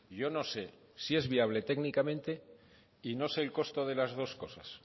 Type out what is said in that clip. yo no sé si es viable técnicamente y no sé el costo de las dos cosas